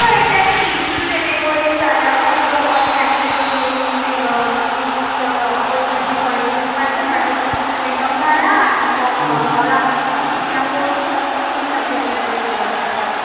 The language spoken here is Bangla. এটাই দিস তুই তো এটাই বলিস first of all thank you for giving this opportunity for introduce myself, myself pritam khara, i am from howrah something এর নাম বলিস. আমি তো শুনলাম ঠিক আছে